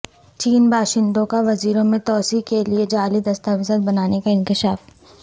چین باشندوں کا ویزوں میں توسیع کے لیے جعلی دستاویزات بنانے کا انکشاف